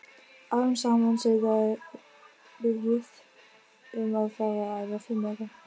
Árum saman suðaði Ruth um að fá að æfa fimleika.